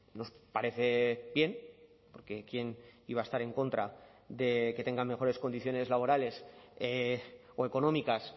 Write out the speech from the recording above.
nos parece bien porque quién iba a estar en contra de que tengan mejores condiciones laborales o económicas